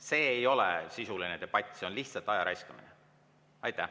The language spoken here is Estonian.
See ei ole sisuline debatt, see on lihtsalt aja raiskamine.